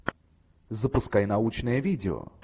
запускай научное видео